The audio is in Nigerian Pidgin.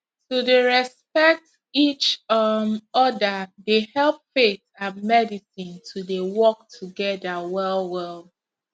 to dey respect each um other dey help faith and medicine to dey work together well well